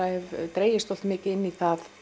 dregist svolítið mikið inn